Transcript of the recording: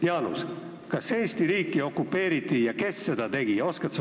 Jaanus, kas Eesti riiki okupeeriti ja kes seda tegi?